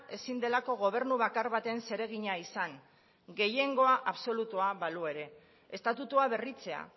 ezin delako gobernu bakar baten zeregina izan gehiengoa absolutua balu ere estatutua berritzea